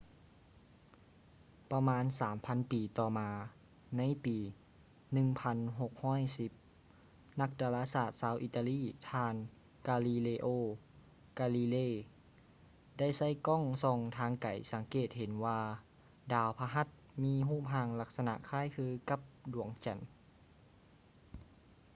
ປະມານສາມພັນປີຕໍ່ມາ ໃນປີ 1610 ນັກດາລາສາດຊາວອີຕາລີ ທ່ານ ກາລີເລໂອ ກາລີເລ galileo galilei ໄດ້ໃຊ້ກ້ອງສ່ອງທາງໄກສັງເກດເຫັນວ່າດາວພະຫັດມີຮູບຮ່າງລັກສະນະຄ້າຍຄືກັບດວງຈັນ